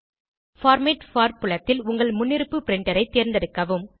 format for புலத்தில் உங்கள் முன்னிருப்பு பிரின்டர் ஐ தேர்ந்தெடுக்கவும்